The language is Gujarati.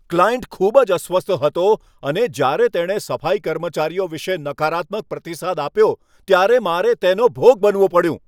ક્લાયન્ટ ખૂબ જ અસ્વસ્થ હતો અને જ્યારે તેણે સફાઈ કર્મચારીઓ વિશે નકારાત્મક પ્રતિસાદ આપ્યો ત્યારે મારે તેનો ભોગ બનવું પડ્યું.